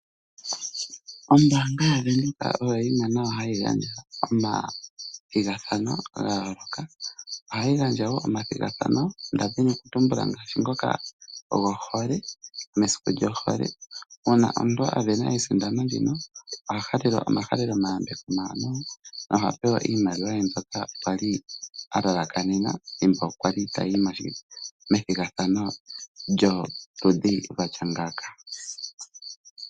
Ombaanga yaVenduka oyo yimwe hayi unganeke omathigathano ga yoolokathana. Ohayi unganeke wo omathigathano nda dhini okutumbula ngoka gohole mesiku lyohole. Uuna omuntu a sindana ethigathano ndino oha halelwa omahaleloyambeko omawanwa noha pewa eiimaliwa ye mbyoka a li a lalakanena thimbo a li tayi methigathano lyoludhi lwa tya ngaaka.